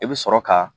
I bɛ sɔrɔ ka